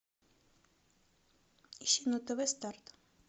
ищи на тв старт